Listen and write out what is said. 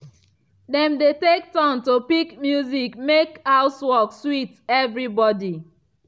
dem dey take turn to pick music mek housework sweet evribody.